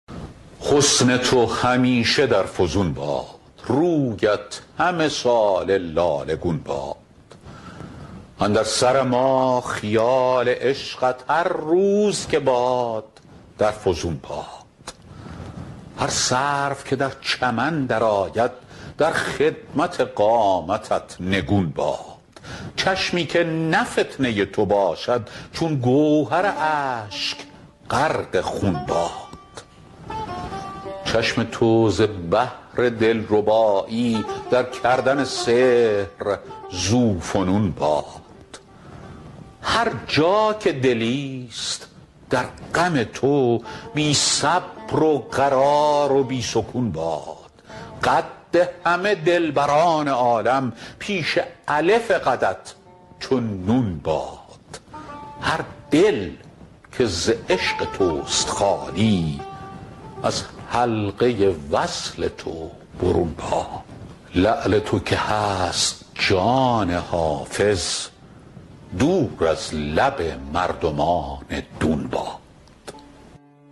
حسن تو همیشه در فزون باد رویت همه ساله لاله گون باد اندر سر ما خیال عشقت هر روز که باد در فزون باد هر سرو که در چمن درآید در خدمت قامتت نگون باد چشمی که نه فتنه تو باشد چون گوهر اشک غرق خون باد چشم تو ز بهر دلربایی در کردن سحر ذوفنون باد هر جا که دلیست در غم تو بی صبر و قرار و بی سکون باد قد همه دلبران عالم پیش الف قدت چو نون باد هر دل که ز عشق توست خالی از حلقه وصل تو برون باد لعل تو که هست جان حافظ دور از لب مردمان دون باد